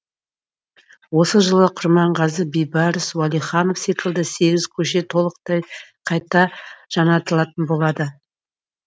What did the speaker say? осы жылы құрманғазы бейбарыс уәлиханов секілді сегіз көше толықтай қайта жаңартылатын болады